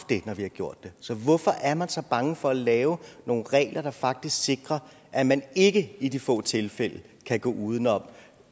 når vi har gjort det så hvorfor er man så bange for at lave nogle regler der faktisk sikrer at man ikke i de få tilfælde kan gå uden om